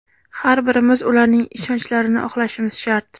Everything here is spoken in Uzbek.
Har birimiz ularning ishonchlarini oqlashimiz shart!